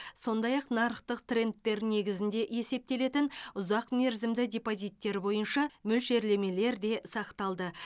сондай ақ нарықтық трендтер негізінде есептелетін ұзақ мерзімді депозиттер бойынша мөлшерлемелер де сақталды